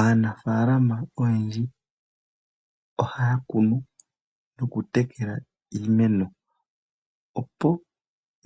Aanafaalama oyendji ohaa kunu nokutekela iimeno, opo